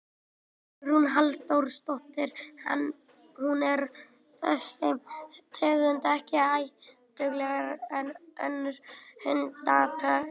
Hugrún Halldórsdóttir: En er þessi tegund ekki hættulegri en önnur hundategund?